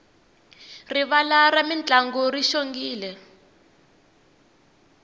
rivala ra mintlangu ri xongile